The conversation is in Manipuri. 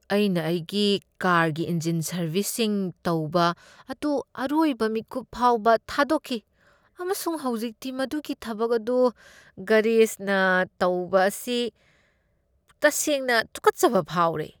ꯑꯩꯅ ꯑꯩꯒꯤ ꯀꯥꯔꯒꯤ ꯏꯟꯖꯤꯟ ꯁꯔꯕꯤꯁꯤꯡ ꯇꯧꯕ ꯑꯗꯨ ꯑꯔꯣꯏꯕ ꯃꯤꯀꯨꯞ ꯐꯥꯎꯕ ꯊꯥꯗꯣꯛꯈꯤ, ꯑꯃꯁꯨꯡ ꯍꯧꯖꯤꯛꯇꯤ ꯃꯗꯨꯒꯤ ꯊꯕꯛ ꯑꯗꯨ ꯒꯔꯦꯖꯅ ꯇꯧꯕ ꯑꯁꯤ ꯇꯁꯦꯡꯅ ꯇꯨꯀꯠꯆꯕ ꯐꯥꯎꯔꯦ꯫